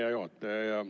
Hea juhataja!